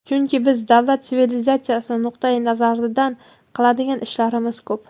Chunki biz davlat, sivilizatsiya nuqtai nazaridan qiladigan ishlarimiz ko‘p.